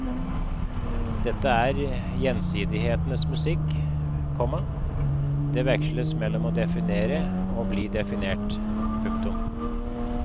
Dette er gjensidighetens musikk, komma det veksles mellom å definere og å bli definert. punktum